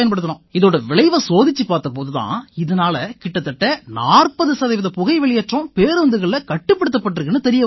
இதோட விளைவை சோதிச்சுப் பார்த்த போது தான் இதனால கிட்டத்தட்ட 40 சதவீத புகை வெளியேற்றம் பேருந்துகள்ல கட்டுப்படுத்தப்பட்டிருக்குன்னு தெரிய வந்திச்சு